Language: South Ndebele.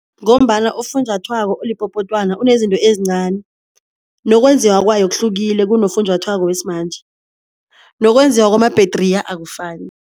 Ngombana ufunjathwako olipopotwana unezinto ezincani, nokwenzeka kwayo kuhlukile kunofunjathwako wesimanje, nokwenziwa kwamabhetriya akufani.